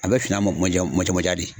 A be fin a mɔ kuma ja kuma jan manja de